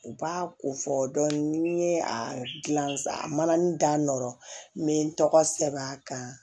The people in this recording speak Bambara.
U b'a ko fɔ dɔni ni n ye a gilan sa manin da nɔ me n tɔgɔ sɛbɛn a kan